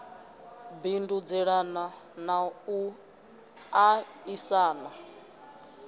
bindudzelana na u a isana